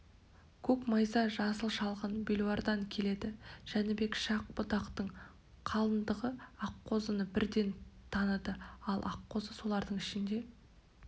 көк майса жасыл шалғын белуардан келеді жәнібек шах-будақтың қалыңдығы аққозыны бірден таныды ал аққозы солардың ішінде